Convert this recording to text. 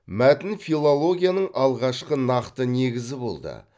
мәтін филологияның алғашқы нақты негізі болды